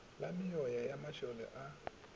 la meoya ya masole a